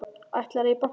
Ætlarðu í bankann?